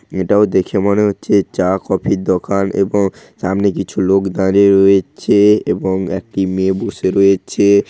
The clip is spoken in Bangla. এটাও দেখে মনে হচ্ছে চা কফির দোকান এবং সামনে কিছু লোক দাঁড়িয়ে রয়েছে এবং একটি মেয়ে বসে রয়েছে।